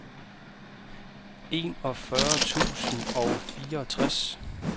enogfyrre tusind og fireogtres